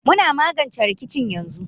Muna magance rikicin yanzu